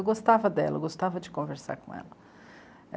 Eu gostava dela, eu gostava de conversar com ela.